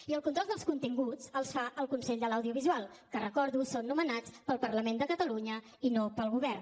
i el control dels continguts el fa el consell de l’audiovisual que ho recordo són nomenats pel parlament de catalunya i no pel govern